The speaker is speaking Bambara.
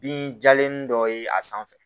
Binjalen dɔ ye a sanfɛ